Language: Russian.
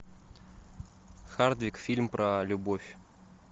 хардвик фильм про любовь